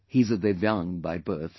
He is a Divyang by birth